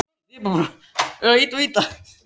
Leo, lækkaðu í græjunum.